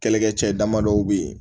Kɛlɛkɛcɛ dama dɔw bɛ yen